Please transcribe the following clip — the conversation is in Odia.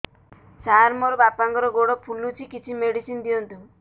ସାର ମୋର ବାପାଙ୍କର ଗୋଡ ଫୁଲୁଛି କିଛି ମେଡିସିନ ଦିଅନ୍ତୁ